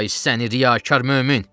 Ay səni riyakar mömin!